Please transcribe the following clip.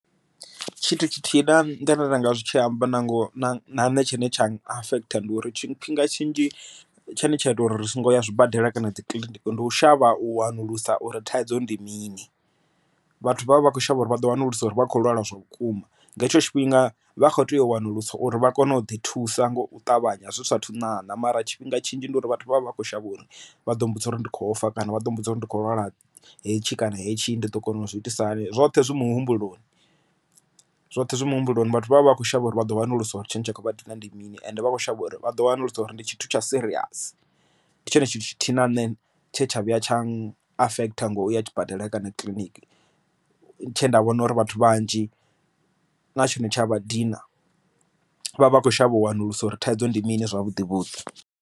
Tshithu tshithihi ndi nda nga zwi tshi amba na ngo na nṋe tshine tsha affect ndi uri tshifhinga tshinzhi tshine tsha ita uri ri songo ya zwibadela kana dzi kiliniki ndi u shavha u wanulusa uri thaidzo ndi mini, vhathu vha vha vha kho shavha uri vha ḓo wanulusa uri vha khou lwala zwa vhukuma nga hetsho tshifhinga vha kho tea u wanulusa uri vha kone u ḓi thusa nga u ṱavhanya zwi sathu ṋaṋa mara tshifhinga tshinzhi ndi uri vhathu vha vha vha kho shavha uri vha ḓo mmbudza uri ndi kho fa kana vha ḓo mmbudza uri ndi kho lwala hetshi kana hetshi ndi ḓo kona uzwi itisa hani zwoṱhe zwi muhumbuloni zwoṱhe zwi muhumbuloni. Vhathu vha vha vha kho shavha uri vha ḓo wanulusa uri tshentsha khovha dina ndi mini and vha kho shavha uri vha ḓo wanulusa uri ndi tshithu tsha serious ndi tshone tshithu tshithihi na nṋe tshe tsha vhuya tsha affect thanga uya zwibadela kana kiḽiniki tshe nda vhona uri vhathu vhanzhi na tshone tsha vha dina vha vha khou shavha u wanulusa uri thaidzo ndi mini zwavhuḓi vhuḓi.